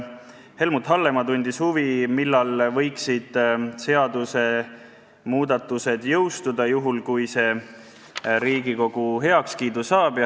Helmut Hallemaa tundis huvi, millal võiksid seadusmuudatused jõustuda, juhul kui see eelnõu Riigikogu heakskiidu saab.